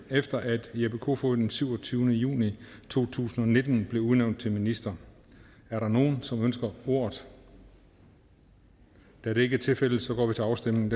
efter at jeppe kofod den syvogtyvende juli to tusind og nitten blev udnævnt til minister er der nogen som ønsker ordet da det ikke er tilfældet går vi til afstemning